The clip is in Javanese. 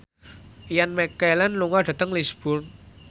Ian McKellen lunga dhateng Lisburn